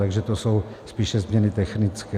Takže to jsou spíše změny technické.